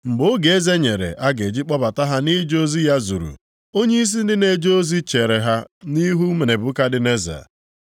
Mgbe oge eze nyere a ga-eji kpọbata ha nʼije ozi ya zuru, onyeisi ndị na-eje ozi chere ha nʼihu Nebukadneza.